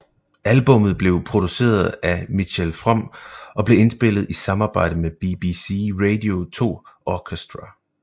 Albummet blev produceret af Mitchell Froom og blev indspillet i samarbejde med BBC Radio 2 Orchestra